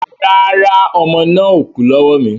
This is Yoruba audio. Rárá, ọmọ náà ò kú lọ́wọ́ mi